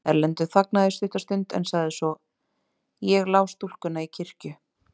Erlendur þagnaði stutta stund en sagði svo:-Ég lá stúlkuna í kirkju.